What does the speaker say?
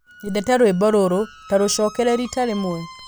nyendete rwĩmbo rũrũ ta rũcokere rita rĩmwe